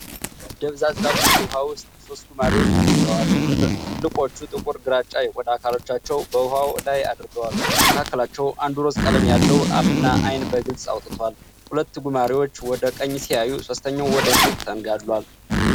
ደብዛዛ ቡኒ ውኃ ውስጥ ሶስት ጉማሬዎች ተኝተዋል። ትልልቆቹ ጥቁር ግራጫ የቆዳ አካሎቻቸውን በውኃው ላይ አድርገዋል። ከመካከላቸው አንዱ ሮዝ ቀለም ያለው አፍና አይን በግልጽ አውጥቷል። ሁለት ጉማሬዎች ወደ ቀኝ ሲያዩ፣ ሦስተኛው ወደ ፊት ተንጋሏል።